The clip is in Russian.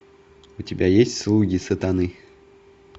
у тебя есть слуги сатаны